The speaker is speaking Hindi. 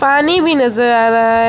पानी भी नजर आ रहा है।